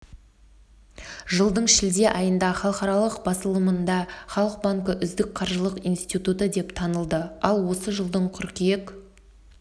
жылдың шілде айында халықаралық басылымында халық банкі үздік қаржылық институты деп танылды ал осы жылдың қыркүйек